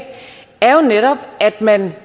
er jo netop at man